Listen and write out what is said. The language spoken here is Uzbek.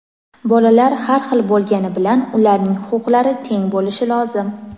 Bolalar har xil bo‘lgani bilan ularning huquqlari teng bo‘lishi lozim.